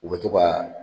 U bɛ to ka